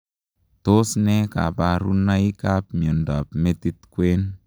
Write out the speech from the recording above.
Tos nee kabarunaik ap miondoop metit kwen?